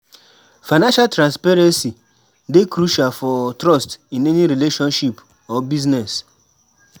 Financial transparency dey crucial for trust in any relationship or business.